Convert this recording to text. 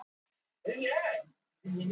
Ekki er nú trútt með það